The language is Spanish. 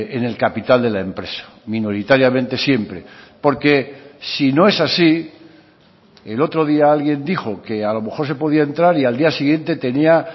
en el capital de la empresa minoritariamente siempre porque si no es así el otro día alguien dijo que a lo mejor se podía entrar y al día siguiente tenía